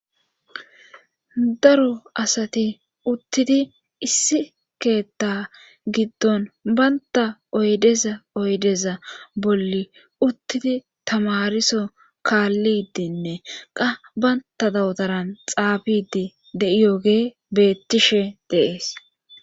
daro asati uttidi issi keetta giddon baynta oydeza oydeza bolli uttidi tamariso kaalli dinne qa baynta dawotaran xaabidi de7iyoge beettishe de'ees